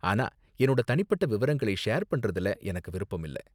ஆனா என்னோட தனிப்பட்ட விவரங்களை ஷேர் பண்றதுல எனக்கு விருப்பம் இல்ல.